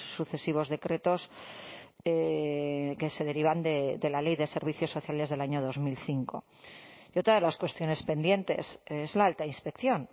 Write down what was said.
sucesivos decretos que se derivan de la ley de servicios sociales del año dos mil cinco y otra de las cuestiones pendientes es la alta inspección